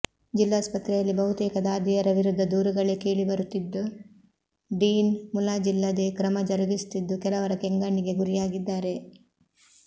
ಜಿಲ್ಲಾಸ್ಪತ್ರೆಯಲ್ಲಿ ಬಹುತೇಕ ದಾದಿಯರ ವಿರುದ್ದ ದೂರುಗಳೇ ಕೇಳಿಬರುತ್ತಿದ್ದು ಡೀನ್ ಮುಲಾಜಿಲ್ಲದೇ ಕ್ರಮ ಜರುಗಿಸುತ್ತಿದ್ದು ಕೆಲವರ ಕೆಂಗಣ್ಣಿಗೆ ಗುರಿಯಾಗಿದ್ದಾರೆ